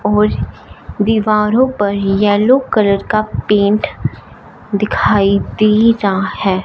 और दीवारों पर येलो कलर का पेंट दिखाई दे रहा है।